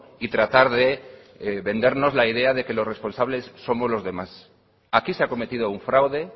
y tratar de vendernos la idea de que los responsables somos los demás aquí se ha cometido un fraude